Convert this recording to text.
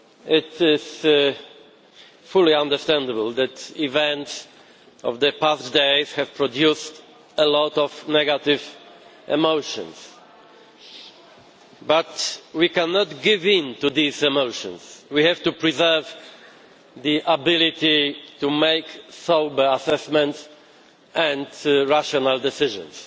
It is fully understandable that the events of the past days have produced a lot of negative emotions, but we cannot give in to these emotions. We have to preserve the ability to make sober assessments and rational decisions.